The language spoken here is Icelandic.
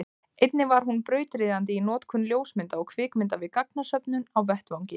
einnig var hún brautryðjandi í notkun ljósmynda og kvikmynda við gagnasöfnun á vettvangi